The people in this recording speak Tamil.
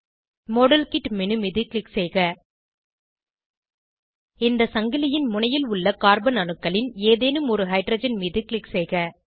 மாடல்கிட் மேனு மீது க்ளிக் செய்க இந்த சங்கிலின் முனையில் உள்ள கார்பன் அணுக்களின் ஏதேனும் ஒரு ஹைட்ரஜன் மீது க்ளிக் செய்க